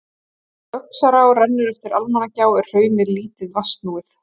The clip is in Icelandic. Þar sem Öxará rennur eftir Almannagjá er hraunið lítið vatnsnúið.